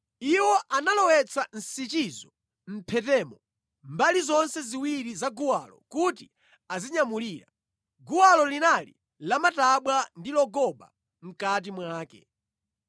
Iwo analowetsa nsichizo mʼmphetemo mbali zonse ziwiri za guwalo kuti azinyamulira. Guwalo linali lamatabwa ndi logoba mʼkati mwake.